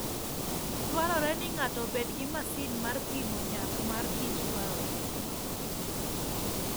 Dwarore ni ng'ato obed gi masin mar pimo nyak mar kich dwarore.